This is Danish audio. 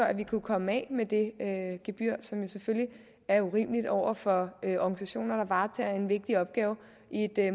at vi kunne komme af med det gebyr som selvfølgelig er urimeligt over for organisationer der varetager en vigtig opgave i et